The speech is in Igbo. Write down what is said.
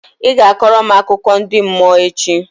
Ị ga-akọrọ m akụkọ ndi mmụọ echi!